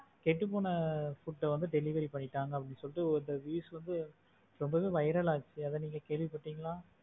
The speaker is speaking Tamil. கெட்டுப்போன food வந்து delivery பண்ணிட்டாங்க அப்படின்னு சொல்லிட்டு வந்து news வந்து ரொம்பவே viral ஆச்சு அத வந்து நீங்க கேள்விப்பட்டீங்களா?